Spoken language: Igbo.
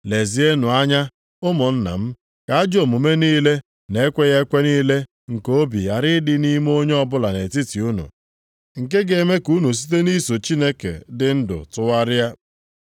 Lezienụ anya, ụmụnna m, ka ajọ omume niile na ekweghị ekwe niile nke obi ghara ịdị nʼime onye ọbụla nʼetiti unu, nke ga-eme ka unu site nʼiso Chineke dị ndụ tụgharịa.